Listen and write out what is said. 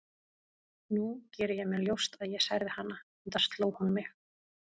Nú geri ég mér ljóst að ég særði hana, enda sló hún mig.